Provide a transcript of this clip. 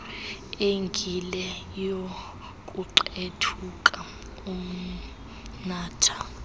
engile youkuqethuka umnatha